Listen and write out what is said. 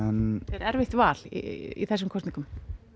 er erfitt val í þessum kosningum